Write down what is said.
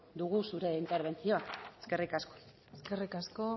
dugu zure interbentzioa eskerrik asko eskerrik asko